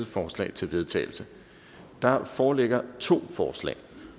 forslag til vedtagelse der foreligger to forslag